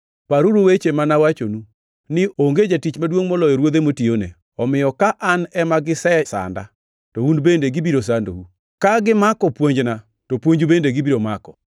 Paruru weche ma nawachonu ni, ‘Onge jatich maduongʼ moloyo ruodhe motiyone.’ + 15:20 \+xt Joh 13:16\+xt* Omiyo ka an ema gisesanda, to un bende gibiro sandou. Ka gimako puonjna, to puonju bende gibiro mako.